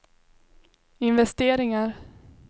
investeringar